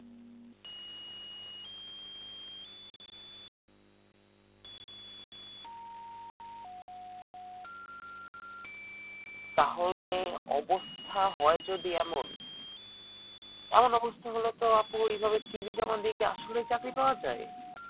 তাহলে অবস্থা হয় যদি এমন এমন অবস্থা হলে তো আপু এভাবে cv জমা দিয়ে কি আসলে চাকরি পাওয়া যায়